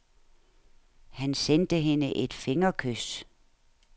Han sendte hende et fingerkys.